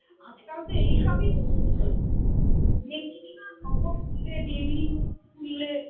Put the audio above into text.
দেখছিস না খবর খুলে TV খুললে